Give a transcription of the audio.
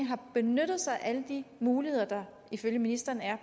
har benyttet sig af alle de muligheder der ifølge ministeren er